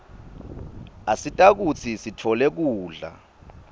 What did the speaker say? asita kutsi sitfole kudla